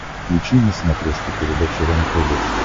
включи на смотрешке передачу рентв